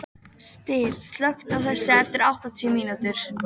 Styr, slökktu á þessu eftir áttatíu mínútur.